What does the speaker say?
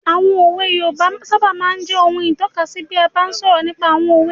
Àwọn òwe yoòbá máa sábà n jẹ́ ohun ìtọ́kasí bí a bá n sọ̀rọ̀ nípa àwọn òwe